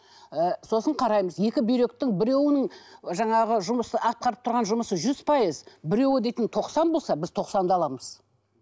ы сосын қараймыз екі бүйректің біреуінің жаңағы жұмысы атқарып тұрған жұмысы жүз пайыз біреуі дейтін тоқсан болса біз тоқсанды аламыз